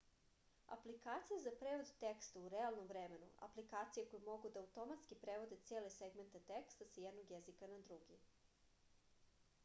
aplikacije za prevod teksta u realnom vremenu aplikacije koje mogu da automatski prevode cele segmente teksta sa jednog jezika na drugi